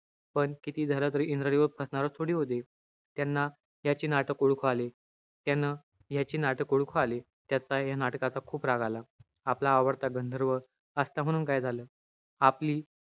पण कितीही झालं तरी, इंद्रदेव फसणार थोडीच होते. त्यांना त्याची नाटक ओळखू आले. त्यानं त्याची नाटक ओळखू आले. त्याचा हा नाटकाचा खूप राग आला. आपला आवडता गंधर्व असला, म्हणून काय झालं. आपली,